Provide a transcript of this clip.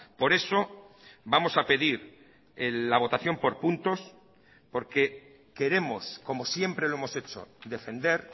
por eso vamos a pedir la votación por puntos porque queremos como siempre lo hemos hecho defender